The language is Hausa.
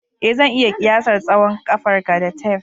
Ee, zan iya kiyasar tsawon ƙafarka da tef